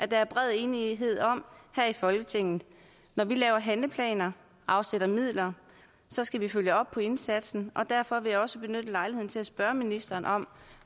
der er bred enighed om her i folketinget når vi laver handleplaner og afsætter midler skal vi følge op på indsatsen og derfor vil jeg også benytte lejligheden til at spørge ministeren om